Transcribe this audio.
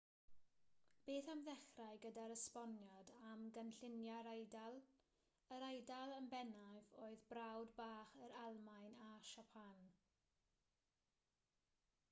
beth am ddechrau gydag esboniad am gynlluniau'r eidal yr eidal yn bennaf oedd brawd bach yr almaen a siapan